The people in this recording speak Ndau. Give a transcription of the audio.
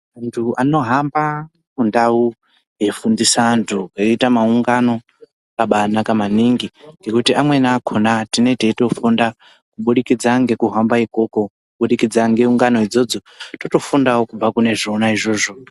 Munthu anohamba mundau eifundisa vanthu veiita maungano zvakabaanaka maningi ngekuti amweni akona tinenge teitofunda kubudikidza ngekuhamba ikoko kubudikidza ngeungano idzodzo totofundao kubva kune zvona izvozvo.